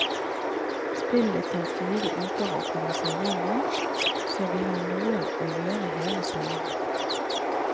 Spillet tar fire uker å komme seg igjennom, så vi har noe å gjøre hele sommeren.